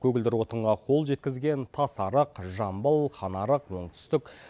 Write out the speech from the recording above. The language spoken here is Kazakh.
көгілдір отынға қол жеткізген тасарық жамбыл ханарық оңтүстік